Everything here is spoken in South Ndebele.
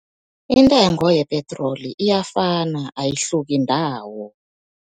Intengo yepetroli iyafana ayihluki ndawo.